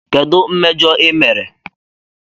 Kedu mmejọ ị mere?